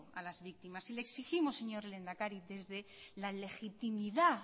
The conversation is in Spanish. a la víctimas y le exigimos señor lehendakari desde la legitimidad